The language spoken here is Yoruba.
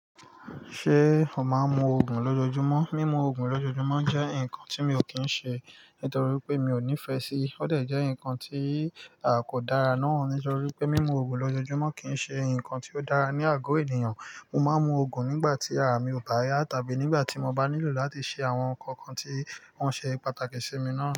Ṣé o máa ń mu ògùn lójojúmọ́? Mímu òogùn lójoojúmọ́ jẹ́ nǹkan tí mi ò kí ń ṣe nítorí pé mi ò nífẹ̀ẹ́ sí. Ó de jẹ́ ǹnkan tí a kò dára náà nítorí pé mímu òogùn lójoojúmọ́ kì í ṣe ǹnkan tí ó dára ní àgọ́ ènìyàn. Mo máa ń mu òogùn nígbà tí ara mi ò bá yá tàbí nígbà tí mo bá nílò láti ṣe àwọn ǹnkan kan tí wọ́n ṣe pàtàkì sí mi náà.